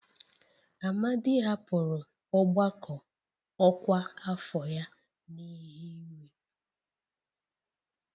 Amadi hapụrụ ọgbakọ ọkwa afọ ya n'ihi iwe